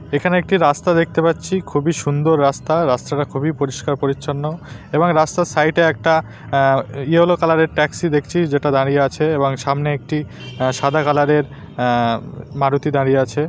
এখানে একটি রাস্তা দেখতে পাচ্ছি খুবই সুন্দর রাস্তা রাস্তাটা খুবই পরিষ্কার পরিচ্ছন্ন এবং রাস্তার সাইড -এ একটা আ ইয়োলো কালার -এর ট্যাক্সি দেখছি যেটা দাঁড়িয়ে আছে এবং সামনে একটি সাদা কালার -এর আ মারুতি দাঁড়িয়ে আছে ।